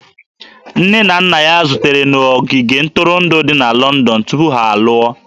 Nne na nna ya zutere na ogige ntụrụndụ dị na Lọndọn tupu ha alụọ